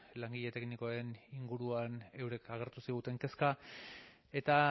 langile teknikoen inguruan eurek agertu ziguten kezka eta